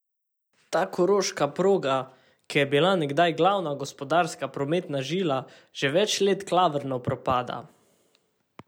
Ta koroška proga, ki je bila nekdaj glavna gospodarska prometna žila, že več let klavrno propada.